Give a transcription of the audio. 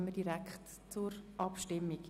Deshalb kommen wir gleich zur Abstimmung.